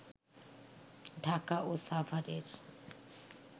ঢাকা ও সাভারের